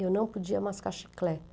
Eu não podia mascar